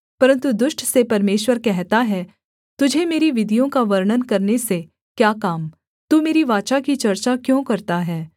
परन्तु दुष्ट से परमेश्वर कहता है तुझे मेरी विधियों का वर्णन करने से क्या काम तू मेरी वाचा की चर्चा क्यों करता है